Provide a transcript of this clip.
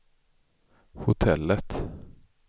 hotellet